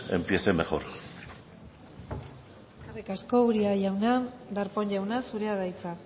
empiece mejor eskerrik asko uria jauna darpón jauna zurea da hitza